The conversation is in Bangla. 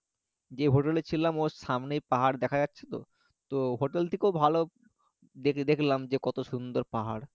যে hotel এ ছিলাম ওর সামনেই পাহাড় দেখা যাচ্ছে তো তো hotel থেকেও ভালো দেখলাম যে কত সুন্দর পাহাড়